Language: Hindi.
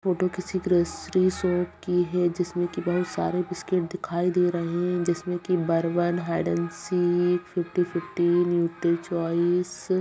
जिसमे की बहुत सारे बिस्किट्स दिखाई दे रहे है बर्बन हिडेन सिख फिफ्टी-फिफ्टी --